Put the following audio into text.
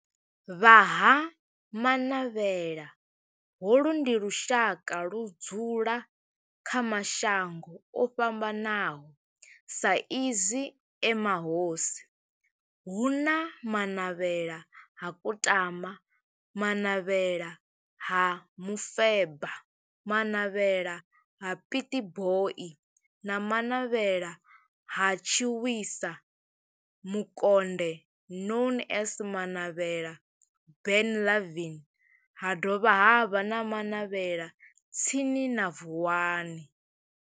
Vha Ha-Manavhela, holu ndi lushaka ludzula kha mashango ofhambanaho sa izwi e mahosi hu na Manavhela ha Kutama, Manavhela ha Mufeba, Manavhela ha Pietboi na Manavhela ha Tshiwisa Mukonde known as Manavhela Benlavin ha dovha havha na Manavhela tsini na Vuwani.